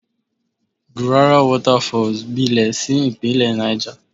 Gurara Waterfalls gbilẹ̀ sí ìpínlẹ̀ Náìjà.